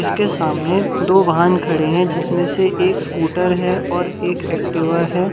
इसके सामने दो वाहन खड़े हैं जिसमें से एक स्कूटर है और एक एक्टिव है।